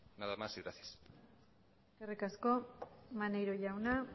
nada más y gracias eskerrik asko maneiro jauna